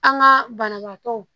An ka banabaatɔw